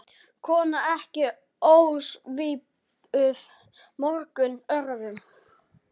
Kona ekki ósvipuð mörgum öðrum.